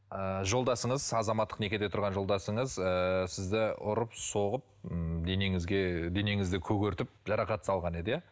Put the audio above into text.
ыыы жолдасыңыз азаматтық некеде тұрған жолдасыңыз ыыы сізді ұрып соғып ыыы денеңізді көгертіп жарақат салған еді иә